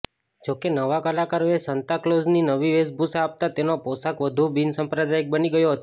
જોકે નવા કલાકારોએ સાન્તાક્લોઝની નવી વેશભૂષા આપતાં તેનો પોષાક વધુ બિનસાંપ્રદાયિક બની ગયો હતો